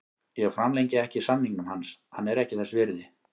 Ég framlengi ekki samningnum hans, hann er ekki þess virði.